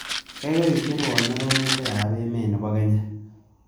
Gaigai icherwon arorutikap emet ne po kenya